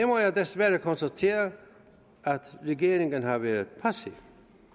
må jeg desværre konstatere at regeringen har været passiv